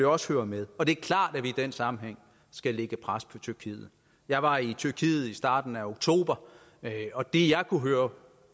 også hører med og det er klart at vi i den sammenhæng skal lægge pres på tyrkiet jeg var i tyrkiet i starten af oktober og det jeg kunne høre